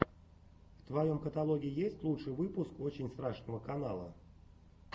в твоем каталоге есть лучший выпуск очень страшного канала